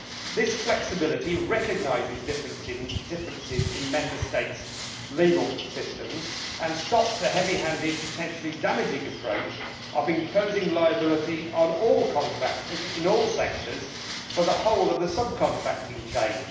This flexibility recognises differences in Member States' legal systems and stops the heavy handed, potentially damaging approach of imposing liability on all contractors in all sectors for the whole of the sub contracting chain.